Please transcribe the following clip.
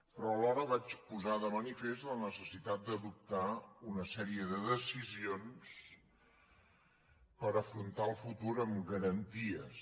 però alhora vaig posar de manifest la necessitat d’adoptar una sèrie de decisions per afrontar el futur amb garanties